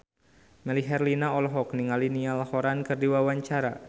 Melly Herlina olohok ningali Niall Horran keur diwawancara